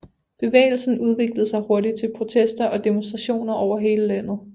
Bevægelsen udviklede sig hurtigt til protester og demonstrationer over hele landet